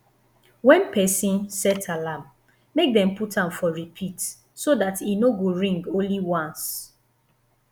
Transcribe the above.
when person set alarm make dem put am for repeat so dat e no go ring only ones